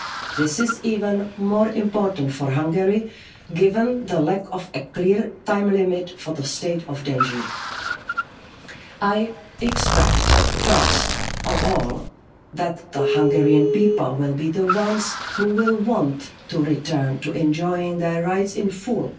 States. This is even more important for Hungary, given the lack of a clear time limit for the state of danger. I expect, first of all, that the Hungarian people will be the ones who will want to return to enjoying their rights